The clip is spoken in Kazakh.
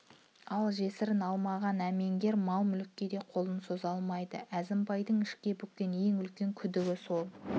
ал жесірін алмаған әмеңгер мал-мүлікке де қолын сұға алмайды әзімбайдың ішке бүккен ең үлкен күдігі сол